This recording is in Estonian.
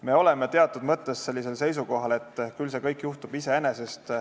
Me oleme teatud mõttes seisukohal, et küll see kõik juhtub iseenesest.